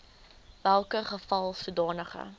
welke geval sodanige